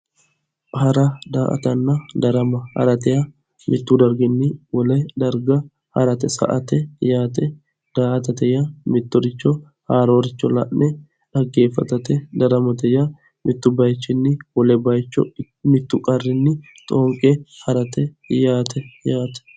hara daa''atanna darama hara yaa mittu darginni wole darga sa'ate yaate daa'atate yaa mittoricho haaroricho la'ne xaggeeffatate daramate yaa mittu bayiichinni wole bayiicho mittu qarrinni xooqe harate yaate.